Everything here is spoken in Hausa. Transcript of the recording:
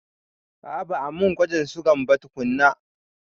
A'a ba a mun gwajin sugan ba tukunna.